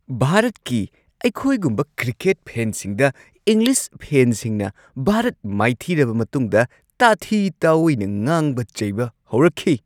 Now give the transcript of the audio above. ꯚꯥꯔꯠꯀꯤ ꯑꯩꯈꯣꯏꯒꯨꯝꯕ ꯀ꯭ꯔꯤꯀꯦꯠ ꯐꯦꯟꯁꯤꯡꯗ ꯏꯪꯂꯤꯁ ꯐꯦꯟꯁꯤꯡꯅ ꯚꯥꯔꯠ ꯃꯥꯏꯊꯤꯔꯕ ꯃꯇꯨꯡꯗ ꯇꯥꯊꯤ ꯇꯥꯑꯣꯏꯅ ꯉꯥꯡꯕ ꯆꯩꯕ ꯍꯧꯔꯛꯈꯤ꯫